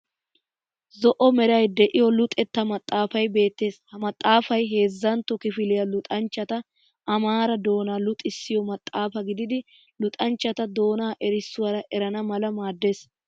Zo'o meray de'iyo luxetta maxxaafay beettees. Ha maxxaafayi heezzantto kifiliya luxanchchata Amaara doona luxissiyo maxxaafaa gididi luxanchchata doonaa eesuwaara erana mala maaddees.